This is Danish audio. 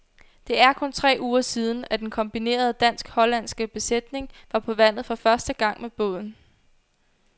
Det er kun tre uger siden, at den kombinerede dansk-hollandske besætning var på vandet for første gang med båden.